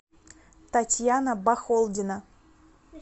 татьяна бахолдина